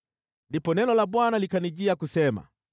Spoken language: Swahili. Ndipo neno la Bwana likanijia kusema: